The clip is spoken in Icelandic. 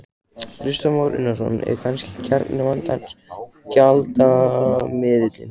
Kristján Már Unnarsson: Er kannski kjarni vandans gjaldmiðillinn?